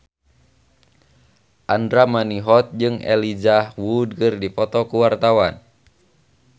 Andra Manihot jeung Elijah Wood keur dipoto ku wartawan